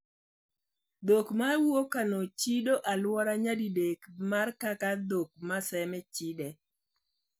Dhok mawuok Kano chido aluora nyadidek mar kaka dhok ma Seme chide.